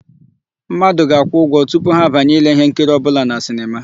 Mmadụ ga-akwụ ụgwọ tupu ha banye ile íhénkiri ọbụla na sinema.